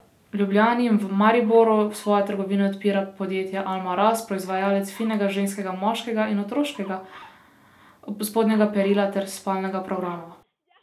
V Ljubljani in v Mariboru svoje trgovine odpira podjetje Alma Ras, proizvajalec finega ženskega, moškega in otroškega spodnjega perila ter spalnega programa.